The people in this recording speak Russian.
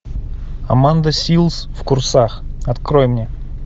аманда силз в курсах открой мне